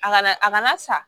A kana a kana sa